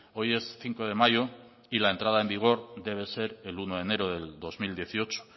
hoy es cinco de mayo y la entrada en vigor debe ser el uno de enero del dos mil dieciocho